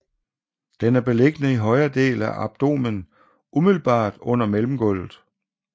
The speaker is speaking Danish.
Den er beliggende i højre del af abdomen umiddelbart under mellemgulvet